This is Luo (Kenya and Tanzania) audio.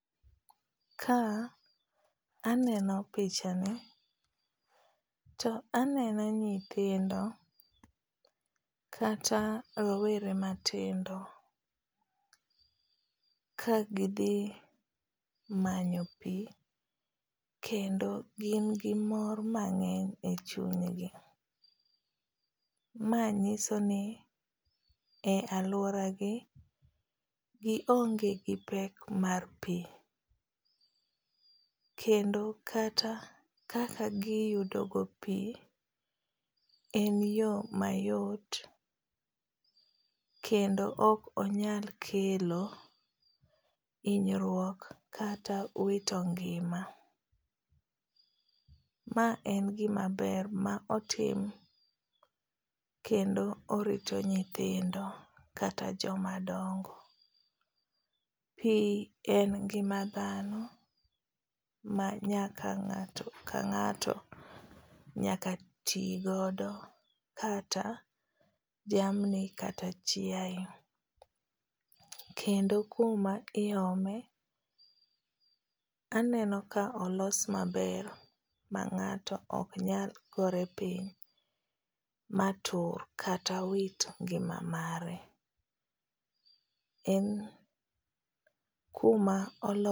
Ka aneno pichani, to aneno nyithindo kata rowere matindo ka gidhi manyo pi, kendo gin gi mor mangény e chunygi. Ma nyiso ni e alwora gi, gionge gi pek mar pi. Kendo kata kaka giyudo go pi, en yo mayot, kendo ok onyal kelo hinyruok kata wito ngima, ma en gima ber, ma otim kendo orito nyithindo kata joma dongo. Pi en ngima dhano, ma nyaka ngáto ka ngáto nyaka ti godo kata jamni kata chiae. Kendo kuma iome aneno ka olos maber ma ngáto ok nyal gore piny ma tur kata wit ngima mare. En kuma